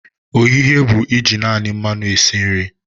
Ohihe bụ iji naani mmanu esi nri.